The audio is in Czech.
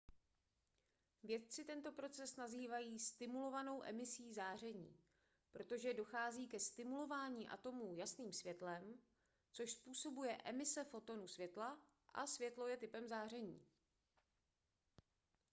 vědci tento proces nazývají stimulovanou emisí záření protože dochází ke stimulování atomů jasným světlem což způsobuje emise fotonu světla a světlo je typem záření